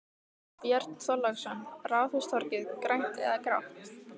Björn Þorláksson: Ráðhústorgið, grænt eða grátt?